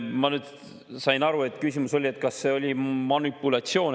Ma sain nüüd aru, et küsimus oli selles, kas see oli manipulatsioon.